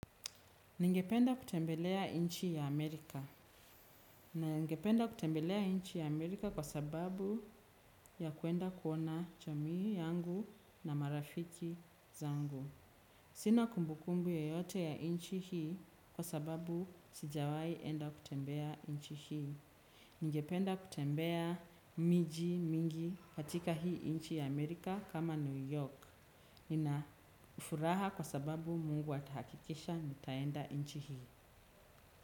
Ningependa kutembelea nchi ya Amerika. Ningependa kutembelea nchi ya Amerika kwa sababu ya kuenda kuona jamii yangu na marafiki zangu. Sina kumbukumbu yoyote ya nchi hii kwa sababu sijawahi enda kutembea nchi hii. Ningependa kutembea miji mingi katika hii nchi ya Amerika kama New York. Ninafuraha kwa sababu mungu atahakikisha nitaenda nchi hii.